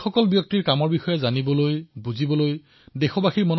সকলো দেশবাসী তেওঁলোকৰ সকলোৰে কাম জানিবলৈ আৰু বুজিবলৈ আগ্ৰহী